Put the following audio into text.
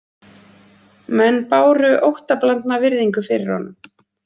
Menn báru óttablandna virðingu fyrir honum